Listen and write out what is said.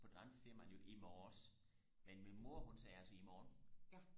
på dansk siger man jo i morges men min mor hun sagde altså i morgen